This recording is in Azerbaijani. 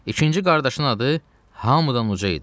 İkinci qardaşın adı Hamıdanuca idi.